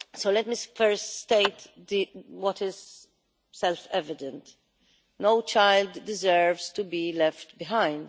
Let me first state what is self-evident no child deserves to be left behind.